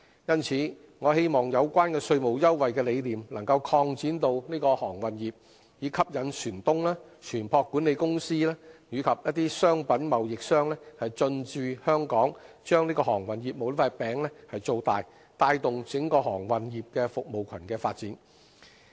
因此，我希望有關稅務優惠的理念能擴展到航運業，以吸引船東、船舶管理公司及商品貿易商等進駐香港，把航運業務這塊餅造大，帶動整個航運業服務群的發展。